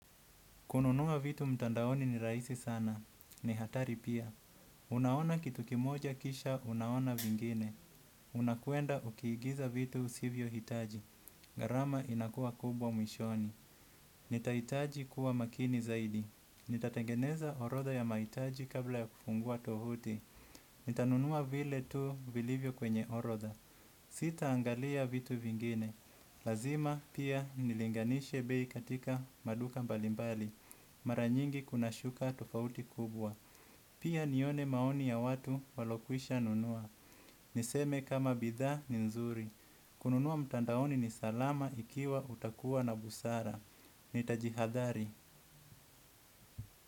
Kununua vitu mtandaoni ni rahisi sana. Ni hatari pia. Unaona kitu kimoja kisha unaona vingine. Unakwenda ukiigiza vitu usivyohitaji. Gharama inakuwa kubwa mwishoni. Nitaitaji kuwa makini zaidi. Nitatengeneza orodha ya maitaji kabla ya kufungua tovuti. Nitanunua vile tu vilivyo kwenye orodha. Sitaangalia vitu vingine. Lazima pia nilinganishe bei katika maduka mbalimbali. Mara nyingi kunashuka tofauti kubwa. Pia nione maoni ya watu waliokwisha nunua. Niseme kama bidhaa ni nzuri. Kununua mtandaoni ni salama ikiwa utakuwa na busara. Nitajihadhari.